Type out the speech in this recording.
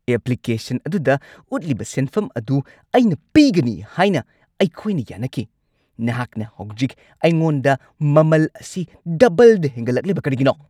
Application ꯑꯗꯨꯗ ꯎꯠꯂꯤꯕ ꯁꯦꯟꯐꯝ ꯑꯗꯨ ꯑꯩꯅ ꯄꯤꯒꯅꯤ ꯍꯥꯏꯅ ꯑꯩꯈꯣꯏꯅ ꯌꯥꯅꯈꯤ꯫ ꯅꯍꯥꯛꯅ ꯍꯧꯖꯤꯛ ꯑꯩꯉꯣꯟꯗ ꯃꯃꯜ ꯑꯁꯤ ꯗꯕꯜꯗ ꯍꯦꯟꯒꯠꯂꯛꯂꯤꯕ ꯀꯔꯤꯒꯤꯅꯣ?